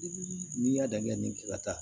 N'i y'a dan kɛ nin k'i ka taa